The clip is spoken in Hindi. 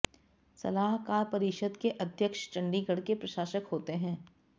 सलाहकार परिषद के अध्यक्ष चंडीगढ़ के प्रशासक होते हैं